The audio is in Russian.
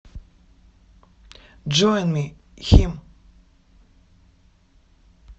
джоин ми хим